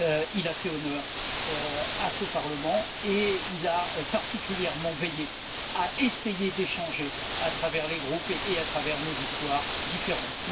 Il a fait honneur à ce Parlement et il a particulièrement veillé à essayer d'échanger, à travers les groupes et à travers nos histoires différentes.